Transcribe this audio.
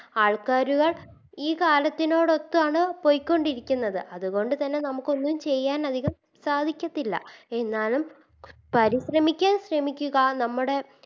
ആൾക്കാര്കൾ ഈ കാലത്തിനോടൊത്താണ് പോയിക്കൊണ്ടിരിക്കുന്നത് അതുകൊണ്ട് തന്നെ നമുക്കൊന്നും ചെയ്യാനതികം സാധിക്കത്തില്ല എന്നാലും പരിശ്രമിക്കാം ശ്രമിക്കുക